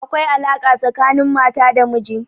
Akwai alaƙa tsakanin mata da miji.